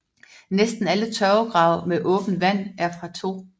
Næsten alle tørvegrave med åbent vand er fra 2